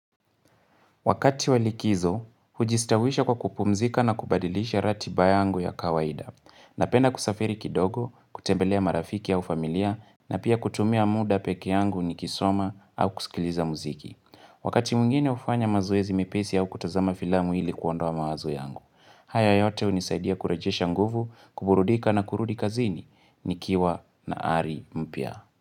Wakati walikizo, hujistawisha kwa kupumzika na kubadilisha rati yangu ya kawaida. Napenda kusafiri kidogo, kutembelea marafiki au familia, na pia kutumia muda peke yangu niki soma au kusikiliza muziki. Wakati mwingine ufanya mazoezi mepesi au kutazama filamu ili kuondoa mawazo yangu. Haya yote unisaidia kurejisha nguvu, kuburudika na kurudi kazini. Nikiwa na ari mpya.